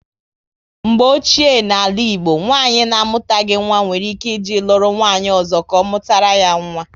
Mgbe ochie na ala Igbo, nwanyị na amutaghi nwa nwere ike e jee lụrụ nwanyị ọzọ ka ọ mụtara ya nwa